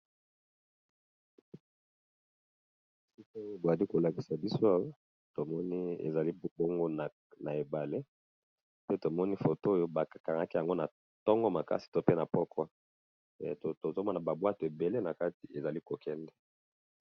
Photo oyoo bali ko lakisa biso to moni ezali bongo na ebale pe to moni photo oyo ba kangaki yango na ntongo makasi to pe na pokwa, tozo mona ba bwato ébélé na kati ezali ko kende .